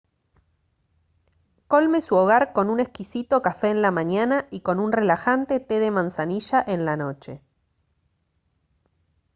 colme su hogar con un exquisito café en la mañana y con un relajante té de manzanilla en la noche